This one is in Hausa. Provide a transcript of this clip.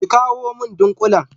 ki kawu min ɗinkulin.